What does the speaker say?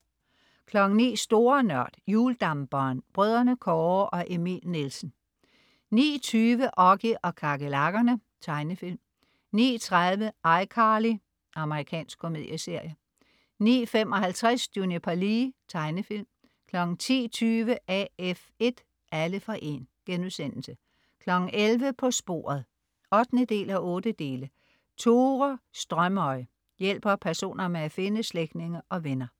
09.00 Store Nørd. Hjuldamperen. Brødrene Kåre og Emil Nielsen 09.20 Oggy og kakerlakkerne. Tegnefilm 09.30 iCarly. Amerikansk komedieserie 09.55 Juniper Lee. Tegnefilm 10.20 AF1, alle for 1* 11.00 På sporet 8:8. Tore Strømøy hjælper personer med at finde slægtninge og venner